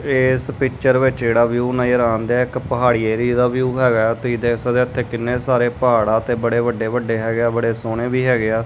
ਏਸ ਪਿੱਚਰ ਵਿੱਚ ਜਿਹੜਾ ਵਿਊ ਨਜ਼ਰ ਆਣਦਿਐ ਇੱਕ ਪਹਾੜੀ ਏਰਿਏ ਦਾ ਵਿਊ ਹੈਗਾ ਐ ਤੁਹੀ ਦੇਖ ਸਕਦੇ ਆ ਇੱਥੇ ਕਿੰਨੇ ਸਾਰੇ ਪਹਾੜ ਆ ਤੇ ਬੜੇ ਵੱਡੇ ਵੱਡੇ ਹੈਗੇ ਆ ਬੜੇ ਸੋਹਣੇ ਵੀ ਹੈਗੇ ਆ।